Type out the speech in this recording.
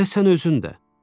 Elə sən özün də.